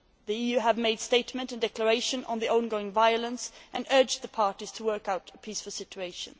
The EU has made a statement and declaration on the ongoing violence and urged the parties to work out a peaceful solution.